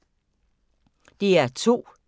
DR2